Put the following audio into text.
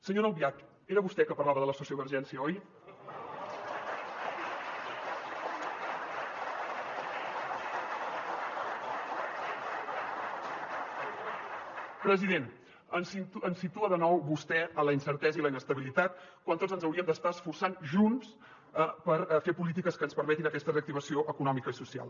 senyora albiach era vostè que parlava de la sociovergència oi president ens situa de nou vostè en la incertesa i la inestabilitat quan tots ens hauríem d’estar esforçant junts per fer polítiques que ens permetin aquesta reactivació econòmica i social